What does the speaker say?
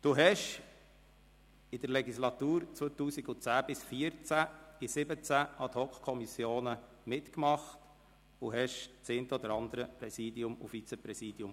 Sie haben in der Legislatur 2010–2014 in 17 Ad-hoc-Kommissionen mitgemacht und haben das eine oder andere Vizepräsidium inne gehabt.